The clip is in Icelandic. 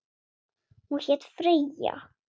Hún hét Freyja.